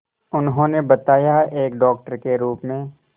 उन्होंने बताया एक डॉक्टर के रूप में